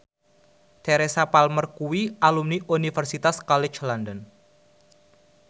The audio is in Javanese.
Teresa Palmer kuwi alumni Universitas College London